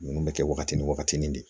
Ninnu bɛ kɛ waagati ni waagati nin de